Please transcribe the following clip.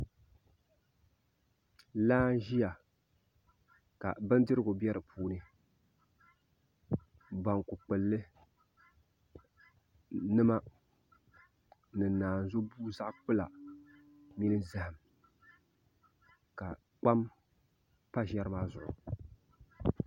laa n-ʒiya ka bindirigu be di puuni banku kpulli nima ni naazubua zaɣ'kpula mini zahim ka kpam pa ʒiɛri maa zuɣu